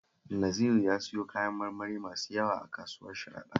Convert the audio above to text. Naziru ya siyo kayan marmari masu yawa a kasuwar Sharaɗa